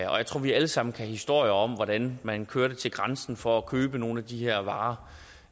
vi alle sammen kan historier om hvordan man kørte til grænsen for at købe nogle af de her varer